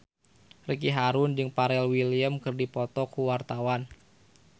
Ricky Harun jeung Pharrell Williams keur dipoto ku wartawan